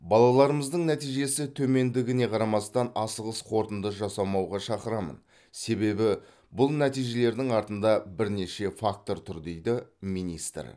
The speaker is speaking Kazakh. балаларымыздың нәтижесі төмендігіне қарамастан асығыс қорытынды жасамауға шақырамын себебі бұл нәтижелердің артында бірнеше фактор тұр дейді министр